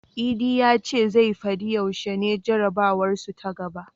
Idi ya ce zai fadi yaushe ne jarabawarsu ta gaba.